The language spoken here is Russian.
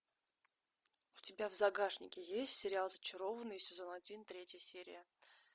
у тебя в загашнике есть сериал зачарованные сезон один третья серия